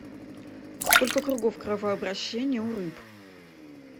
сколько кругов кровообращения у рыб